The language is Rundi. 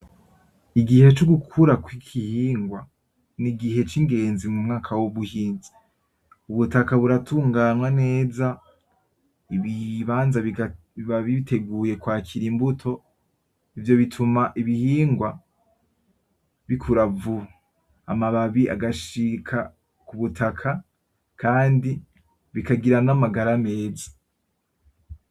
Igihe co gukura kw'igihingwa n'igihe c'ingenzi mu mwaka w'ubuhinzi, ubutaka buratunganywa neza ibibanza biba biteguye kwakira imbuto ivyo bituma ibihingwa bikura vuba, amababi agashika kubutaka kandi bikagira n'amagara meza.